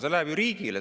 See läheb ju riigile.